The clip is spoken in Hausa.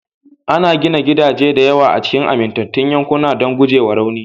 Ana gina gidaje da yawa a cikin amintattun yankuna don gujewa rauni